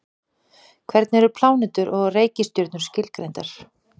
hvernig eru plánetur og reikistjörnur skilgreindar